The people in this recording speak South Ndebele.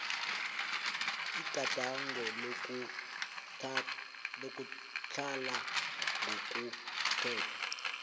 igadango lokutlhala ngokomthetho